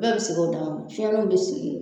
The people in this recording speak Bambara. Bɛɛ be sigi u damana fiɲɛnnu be sigi